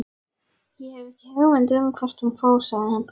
Ég hef ekki hugmynd um hvert hún fór, sagði hann.